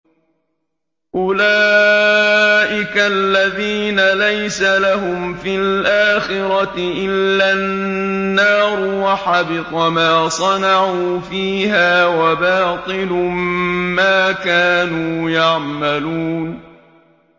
أُولَٰئِكَ الَّذِينَ لَيْسَ لَهُمْ فِي الْآخِرَةِ إِلَّا النَّارُ ۖ وَحَبِطَ مَا صَنَعُوا فِيهَا وَبَاطِلٌ مَّا كَانُوا يَعْمَلُونَ